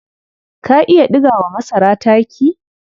Ka iya ɗiga wa masara taki?